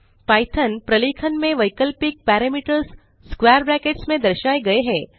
Python प्रलेखन में वैकल्पिक पैरामीटर्स स्क्वैर ब्रैकेट्स में दर्शाए गए हैं